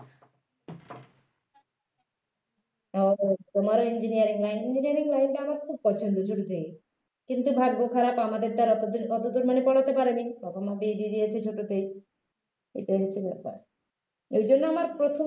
ও তোমারও engineering line engineering line টা আমার খুব পছন্দ ছোট থেকেই কিন্তু ভাগ্য খারাপ আমাদের তো অতদূর অতদূর মানে পড়াতে পারেনি বাবা-মা বিয়ে দিয়ে দিয়েছে ছোটতেই এটাই হচ্ছে ব্যাপার এর জন্য আমার প্রথম